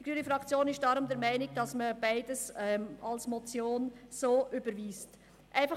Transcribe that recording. Die grüne Fraktion ist deshalb der Meinung, man solle beides als Motion überweisen.